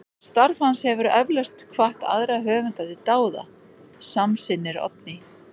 Starf hans hefur eflaust hvatt aðra höfunda til dáða, samsinnir Oddný.